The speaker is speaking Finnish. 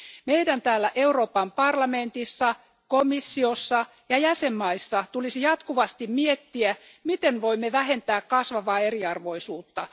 Meidän täällä Euroopan parlamentissa, komissiossa ja jäsenmaissa tulisi jatkuvasti miettiä, miten voimme vähentää kasvavaa eriarvoisuutta.